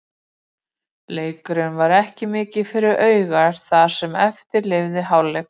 Leikurinn var ekki mikið fyrir augað það sem eftir lifði hálfleiks.